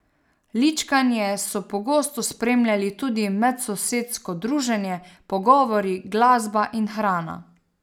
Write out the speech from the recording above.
Ličkanje so pogosto spremljali tudi medsosedsko druženje, pogovori, glasba in hrana.